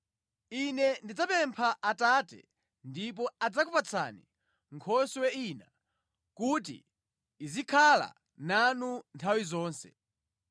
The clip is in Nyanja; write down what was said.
Ine ndidzapempha Atate, ndipo adzakupatsani Nkhoswe ina kuti izikhala nanu nthawi zonse.